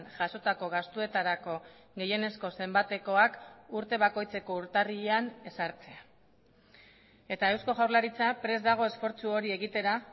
jasotako gastuetarako gehienezko zenbatekoak urte bakoitzeko urtarrilean ezartzea eta eusko jaurlaritza prest dago esfortzu hori egitera